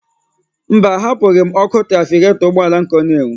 Mba, ahapụghị m ọkụ trafiketọ ụgbọala m ka ọ n'enwu.